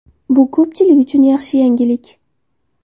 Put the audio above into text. Bu ko‘pchilik uchun yaxshi yangilik.